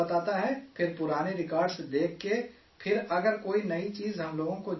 پھر پرانے ریکارڈز دیکھ کے پھر اگر کوئی نئی چیزیں ہم لوگوں کو جاننا ہے